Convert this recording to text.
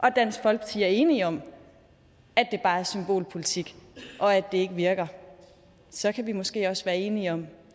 og dansk folkeparti er enige om at det bare er symbolpolitik og at det ikke virker så kan vi måske også være enige om